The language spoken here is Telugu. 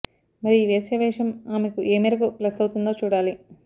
మరి ఈ వేశ్య వేషం ఆమెకు ఏ మేరకు ప్లస్సవుతుందో చూడాలి